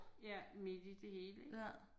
Ja midt i det hele ik